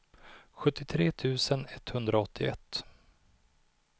sjuttiotre tusen etthundraåttioett